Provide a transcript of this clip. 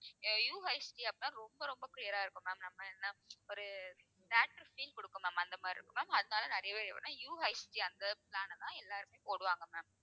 அஹ் UHD அப்படின்னா ரொம்ப, ரொம்ப கிளியரா இருக்கும் ma'am நம்ம என்ன ஒரு theatre feel கொடுக்கும் ma'am அந்த மாதிரி இருக்கும் ma'am அதனால நிறைய பேர் எப்படின்னா UHD அந்த plan அ தான் எல்லாருமே போடுவாங்க ma'am.